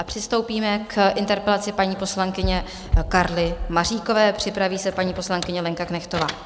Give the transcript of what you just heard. A přistoupíme k interpelaci paní poslankyně Karly Maříkové, připraví se paní poslankyně Lenka Knechtová.